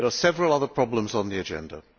There are several other problems on the agenda.